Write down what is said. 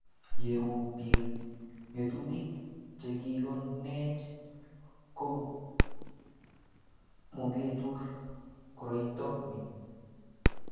ye rub biik ng'atutik che kikikonech ko muketur koroito ni